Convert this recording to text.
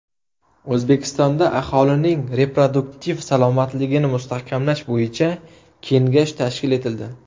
O‘zbekistonda aholining reproduktiv salomatligini mustahkamlash bo‘yicha Kengash tashkil etildi.